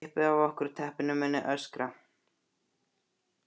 Sá sem kippi af okkur teppinu muni öskra.